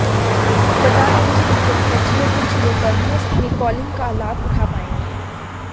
बता दें कि उपभोक्ता जियो टू जियो पर मुफ्त में कॉलिंग का लाभ उठा पाएंगे